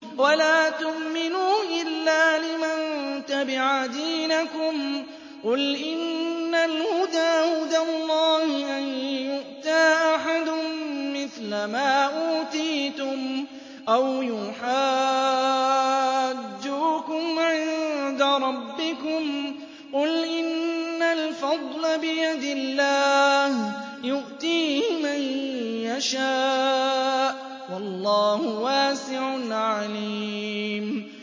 وَلَا تُؤْمِنُوا إِلَّا لِمَن تَبِعَ دِينَكُمْ قُلْ إِنَّ الْهُدَىٰ هُدَى اللَّهِ أَن يُؤْتَىٰ أَحَدٌ مِّثْلَ مَا أُوتِيتُمْ أَوْ يُحَاجُّوكُمْ عِندَ رَبِّكُمْ ۗ قُلْ إِنَّ الْفَضْلَ بِيَدِ اللَّهِ يُؤْتِيهِ مَن يَشَاءُ ۗ وَاللَّهُ وَاسِعٌ عَلِيمٌ